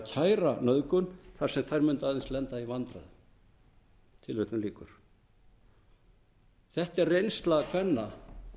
kæra nauðgun þar sem þær mundu aðeins lenda í vandræðum þetta er reynsla kvenna